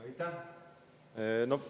Aitäh!